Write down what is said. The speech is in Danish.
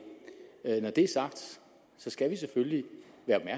når det er sagt skal vi selvfølgelig være